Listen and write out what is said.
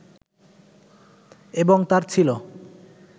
এবং তাঁর ছিল